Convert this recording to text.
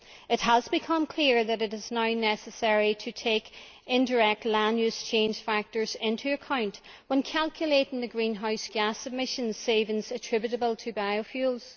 It has become clear that it is now necessary to take indirect land use change factors into account when calculating the greenhouse gas emissions savings attributable to biofuels.